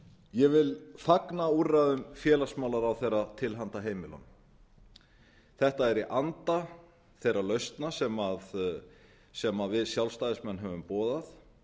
ég vil fagna úrræðum félagsmálaráðherra til handa heimilunum þetta er í anda þeirra lausna sem við sjálfstæðismenn höfum boðað